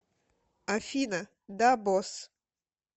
афина да босс